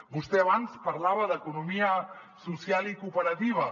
vostè abans parlava d’economia social i cooperativa